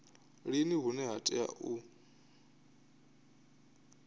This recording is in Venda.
lini hune ha tea u